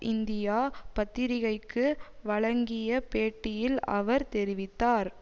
India பத்திரிகைக்கு வழங்கிய பேட்டியில் அவர் தெரிவித்தார்